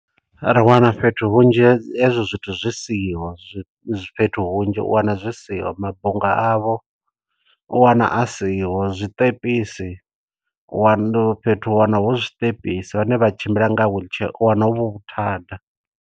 Ri wana fhethu hunzhi he hezwo zwithu zwi isiho, zwi zwi fhethu hunzhi u wana zwi siho. Mabunga avho u wana a siho, zwiṱepisi u wana fhethu u wana hu zwiṱepisi, vhane vha tshimbila nga wheelchair u wana hu vhuthada.